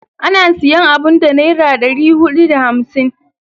Ana siyan abun da Naira dari hudu da hamsin.